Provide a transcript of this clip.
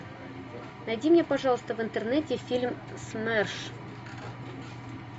найди мне пожалуйста в интернете фильм смерш